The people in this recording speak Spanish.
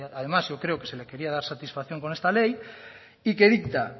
además yo creo que se le quería dar satisfacción con esta ley y que dicta